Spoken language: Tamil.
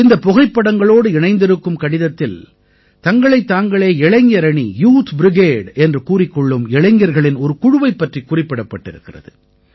இந்தப் புகைப்படங்களோடு இணைந்திருக்கும் கடிதத்தில் தங்களைத் தாங்களே இளைஞரணி யூத் பிரிகேடு என்று கூறிக்கொள்ளும் இளைஞர்களின் ஒரு குழுவைப் பற்றிக் குறிப்பிடப்பட்டிருக்கிறது